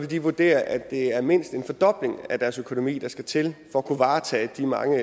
de vurdere at det er mindst en fordobling af deres økonomi der skal til for at kunne varetage de mange